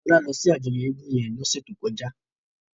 Tola lò si àjòyò égùn yèn lòsè tókòjá